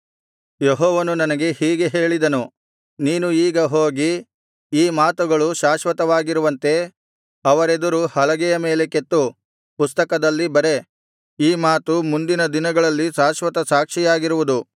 ಯೆಹೋವನು ನನಗೆ ಹೀಗೆ ಹೇಳಿದನು ನೀನು ಈಗ ಹೋಗಿ ಈ ಮಾತುಗಳು ಶಾಶ್ವತವಾಗಿರುವಂತೆ ಅವರೆದುರು ಹಲಗೆಯ ಮೇಲೆ ಕೆತ್ತು ಪುಸ್ತಕದಲ್ಲಿ ಬರೆ ಈ ಮಾತು ಮುಂದಿನ ದಿನಗಳಲ್ಲಿ ಶಾಶ್ವತ ಸಾಕ್ಷಿಯಾಗಿರುವುದು